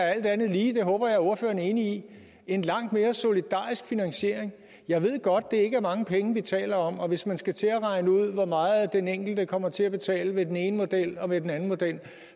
alt andet lige det håber jeg ordføreren er enig i en langt mere solidarisk finansiering jeg ved godt det ikke er mange penge vi taler om og hvis man skal til at regne ud hvor meget den enkelte kommer til at betale ved den ene model og den anden model